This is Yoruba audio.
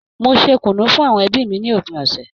Mo ṣe kùnú fún àwọn ẹbí mi ní òpin ọ̀sẹ̀ yìí